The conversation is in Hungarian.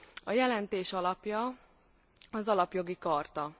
A jelentés alapja az Alapjogi Charta.